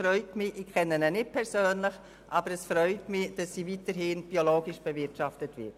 Ich kenne ihn nicht persönlich, aber es freut mich, dass die Alp weiterhin biologisch bewirtschaftet wird.